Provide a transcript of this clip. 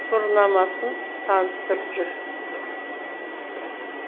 тұғырнамасын таныстырып жүр